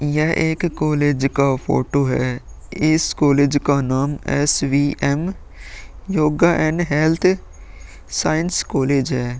यह एक कॉलेज का फोटो है। इस कॉलेज का नाम S V M. Yoga and health science college है।